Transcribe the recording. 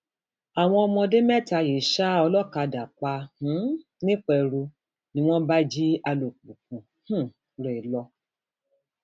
àwọn ọmọdé mẹta yìí ṣa olókàdá pa um nìpẹrù ni wọn bá jí alùpùpù um rẹ lọ